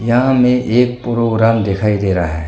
यहां में एक प्रोग्राम दिखाई दे रहा है।